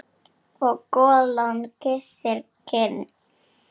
Og golan kyssir kinn.